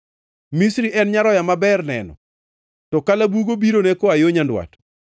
“Misri en nyaroya maber neno, to kalabugo birone koa yo nyandwat.